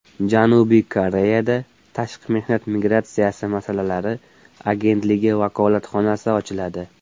Janubiy Koreyada Tashqi mehnat migratsiyasi masalalari agentligi vakolatxonasi ochiladi.